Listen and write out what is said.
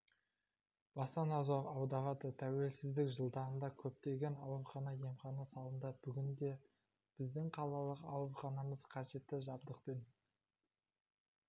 баса назар аударады тәуелсіздік жылдарында көптеген аурухана емхана салынды бүгінде біздің қалалық ауруханамыз қажетті жабдықпен